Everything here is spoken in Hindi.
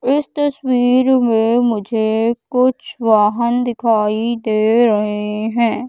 इस तस्वीर में मुझे कुछ वाहन दिखाई दे रहे हैं।